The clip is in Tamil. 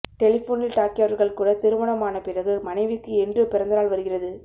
டெலிபோனில் டாக்கியவர்கள் கூட திருமணம் ஆன பிறகு மனைவிக்கு என்று பிறந்த நாள் வருகிறது